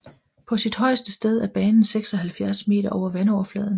På sit højeste sted er banen 76 meter over vandoverfladen